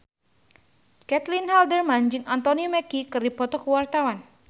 Caitlin Halderman jeung Anthony Mackie keur dipoto ku wartawan